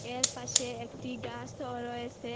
এর পাশে একটি গাসও রয়েসে।